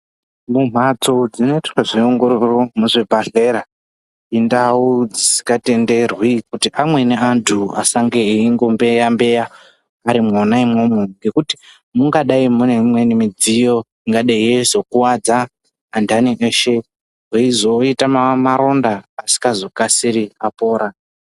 Mumbatso dzinoitwa zveongororo muzvibhedhleya indau dzisikatenderwi kuti amweni antu asange eingombeya mbeya ari mwona imwomwo ngekuti mungadai mune imweni midziyo ingadai yeizokuwadza antani veshe veizoita maronda asikakasiki apora.